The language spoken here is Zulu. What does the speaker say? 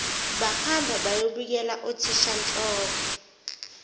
bahamba bayobikela uthishanhloko